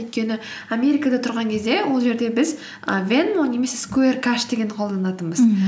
өйткені америкада тұрған кезде ол жерде біз і венмо немесе скуэр кэш дегенді қолданатынбыз мхм